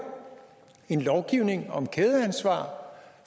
en lovgivning om kædeansvar